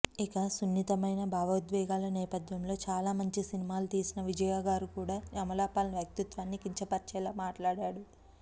ఇక సున్నితమైన భావోద్వేగాల నేపధ్యంలో చాలా మంచి సినిమాలు తీసిన విజయ్గారు కూడా అమలా పాల్ వ్యక్తిత్వాన్ని కించపరిచేలా మాట్లాడాడు